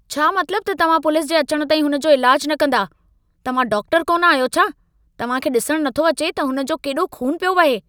छा मतलबु त तव्हां पुलिस जे अचण ताईं हुन जो इलाजु न कंदा? तव्हां डाक्टरु कोन आहियो छा? तव्हां खे ॾिसण नथो अचे त हुन जो केॾो खून पियो वहे?